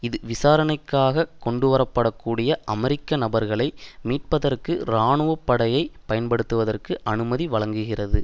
இது விசாரணைக்காக கொண்டு வரப்படக்கூடிய அமெரிக்க நபர்களை மீட்பதற்கு இராணுவ படையைப் பயன்படுத்துவதற்கு அனுமதி வழங்குகிறது